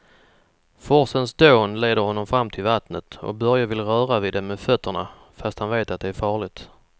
Forsens dån leder honom fram till vattnet och Börje vill röra vid det med fötterna, fast han vet att det är farligt.